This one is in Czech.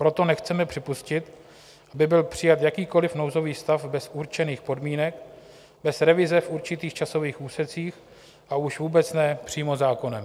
Proto nechceme připustit, aby byl přijat jakýkoliv nouzový stav bez určených podmínek, bez revize v určitých časových úsecích, a už vůbec ne přímo zákonem.